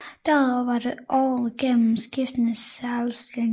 Derudover var der året igennem skiftende særudstillinger